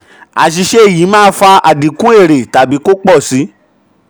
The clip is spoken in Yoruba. àṣìṣe yìí máa fa àdínkù fa àdínkù èrè tàbí kó pò si.